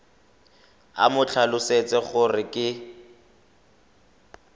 o mo tlhalosetse gore ke